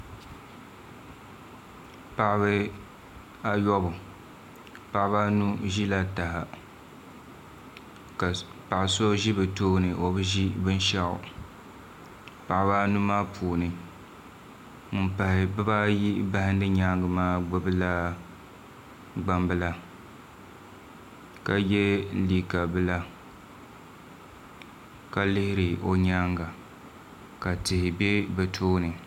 Paɣaba ayobu paɣaba anu ʒila taha ka paɣa so ʒi bi tooni o bi ʒi binshaɣu paɣaba anu maa puuni ŋun pahi bibaayi bahandi nyaangi maa gbubila gbambila ka yɛ liigq bila ka lihiri o nyaanga ka tihi bɛ bi toini